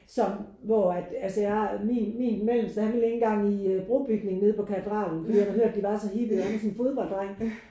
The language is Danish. Som hvor at altså jeg min min mellemste han ville ikke engang i brobygning nede på Katedralen fordi han havde hørt at de var så hippie og han er sådan en fodbolddreng